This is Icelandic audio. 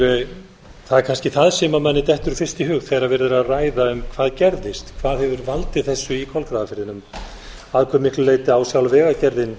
það er kannski það sem mér dettur fyrst í hug þegar verið er að ræða um hvað gerðist hvað hefur valdið þessu í kolgrafafirðinum að hve miklu leyti á sjálf vegagerðin